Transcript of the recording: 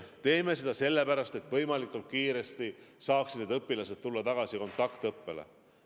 Me teeme seda sellepärast, et võimalikult kiiresti saaksid need õpilased tulla tagasi kontaktõppele.